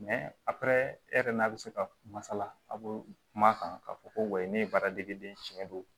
yɛrɛ n'a bɛ se ka masala a bɛ kuma kan k'a fɔ ko wayi ne ye baaradegeden siɲɛ don